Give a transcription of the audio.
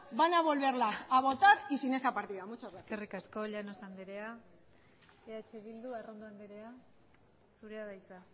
van a volverlas a votar y sin esa partida muchas gracias eskerrik asko llanos andrea eh bildu arrondo andrea zurea da hitza